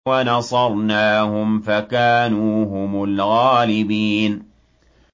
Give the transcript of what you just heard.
وَنَصَرْنَاهُمْ فَكَانُوا هُمُ الْغَالِبِينَ